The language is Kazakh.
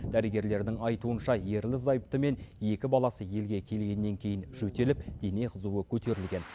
дәрігерлердің айтуынша ерлі зайыпты мен екі баласы елге келгеннен кейін жөтеліп дене қызуы көтерілген